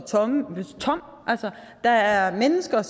tom altså der er mennesker